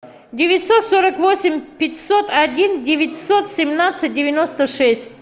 девятьсот сорок восемь пятьсот один девятьсот семнадцать девяносто шесть